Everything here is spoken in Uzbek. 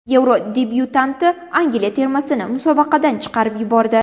Yevro debyutanti Angliya termasini musobaqadan chiqarib yubordi.